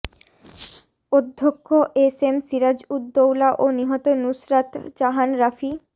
অধ্যক্ষ S M Siraj Uddaula ও নিহত নুসরাত জাহান রাফি